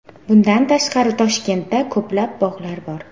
Bundan tashqari Toshkentda ko‘plab bog‘lar bor.